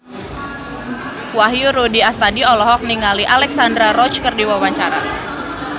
Wahyu Rudi Astadi olohok ningali Alexandra Roach keur diwawancara